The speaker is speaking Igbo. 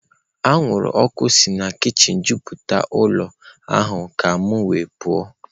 Anwụrụ ọkụ si na kichin juputara ụlọ ahụ ka m wee pụọ.